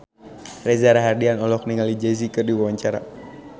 Reza Rahardian olohok ningali Jay Z keur diwawancara